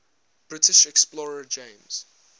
british explorer james